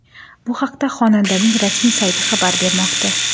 Bu haqda xonandaning rasmiy sayti xabar bermoqda .